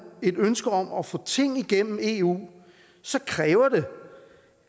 et ønske om at få ting igennem i eu kræver det